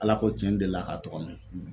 Ala ko tiɲɛ n deli la k'a tɔgɔ mɛn.